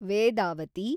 Vedavathi